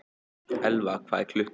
Elfa, hvað er klukkan?